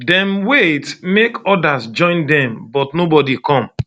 dem wait make odas join dem but nobodi come